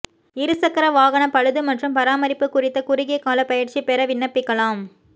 இருசக்கர வாகன பழுது மற்றும் பராமரிப்பு குறித்த குறுகிய கால பயிற்சி பெற விண்ணப்பிக்கலாம்